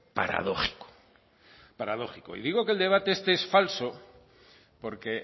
paradójico paradójico y digo que el debate este es falso porque